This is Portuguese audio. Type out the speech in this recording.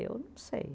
Eu não sei.